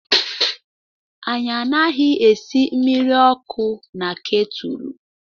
Anyị anaghị esị mmiri ọkụ na ketúlú.